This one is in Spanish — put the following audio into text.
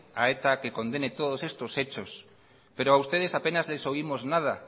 a eta que condene todos estos hechos pero a ustedes apenas les oímos nada